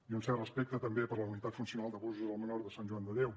i un cert respecte també per la unitat funcional d’abusos al menor de sant joan de déu